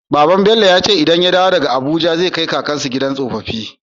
Babban su Bello yace idan ya dawo daka abuja zai kai kakan su gidan tsofafi